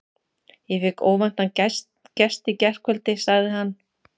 Ég fékk óvæntan gest í gærkvöldi, sagði hann.